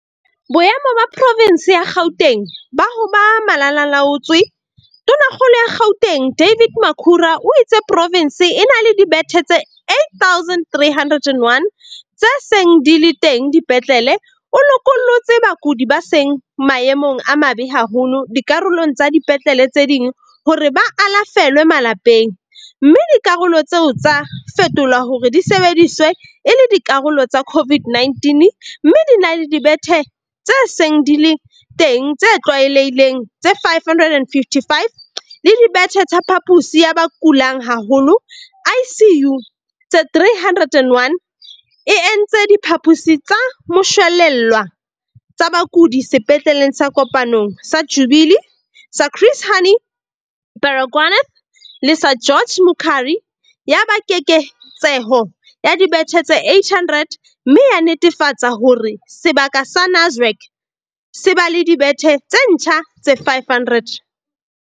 Boemo ba provense ya Gauteng ba ho ba malala-a-laotswe Tonakgolo ya Gauteng David Makhura o itse provense e na le dibethe tse 8 301 tse seng di le teng dipetlele, o lokollotse bakudi ba seng maemong a mabe haholo dikarolong tsa dipetlele tse ding hore ba alafelwe malapeng, mme dikarolo tseo tsa fetolwa hore di sebediswe e le dikarolo tsa CO-VID-19, mme di na le dibethe tse seng di le teng tse tlwaelehileng tse 555 le dibethe tsa phaposi ya ba kulang haholo, ICU, tse 308, e entse diphaposi tsa moshwelella tsa bakudi sepetleleng sa Kopanong, sa Jubilee, sa Chris Hani Baragwanath le sa George Mukhari, ya ba keketseho ya dibethe tse 800, mme ya netefatsa hore sebaka sa Nasrec se ba le dibethe tse ntjha tse 500.